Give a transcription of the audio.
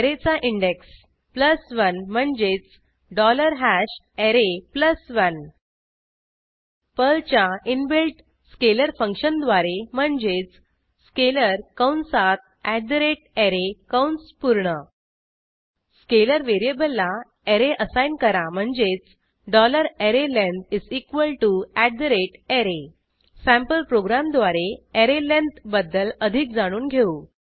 ऍरेचा index 1 म्हणजेच array 1 पर्लच्या inbuilt scalar function द्वारे म्हणजेच स्केलर कंसात array कंस पूर्ण स्केलर व्हेरिएबलला ऍरे असाईन करा म्हणजेच arrayLength array सँपल प्रोग्रॅमद्वारे ऍरे लेंथ बद्दल अधिक जाणून घेऊ